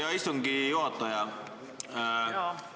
Hea istungi juhataja!